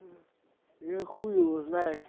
я хуй его знает